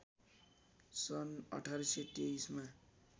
सन् १८२३ मा